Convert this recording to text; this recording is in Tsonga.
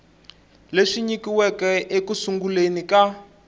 leswi nyikiweke eku sunguleni ka